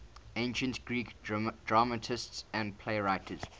ancient greek dramatists and playwrights